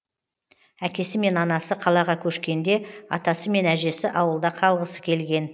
әкесі мен анасы қалаға көшкенде атасы мен әжесі ауылда қалғысы келген